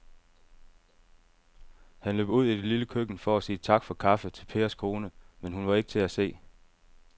Han løb ud i det lille køkken for at sige tak for kaffe til Pers kone, men hun var ikke til at se.